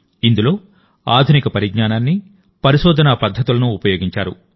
ఇందులో ఆధునిక పరిజ్ఞానాన్ని పరిశోధనాపద్ధతులను ఉపయోగించారు